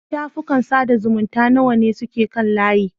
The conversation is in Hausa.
Shafukan sada zumunta nawa ne suke kan layi?